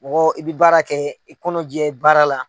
Mɔgɔ i bi baara kɛ k'i kɔnɔjɛ baara la.